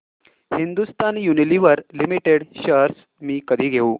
Hindustan Unilever limited shares मी कधी घेऊ